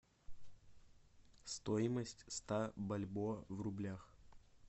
стоимость ста бальбоа в рублях